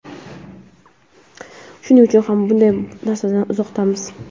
Shuning uchun ham bunday narsalardan uzoqdamiz.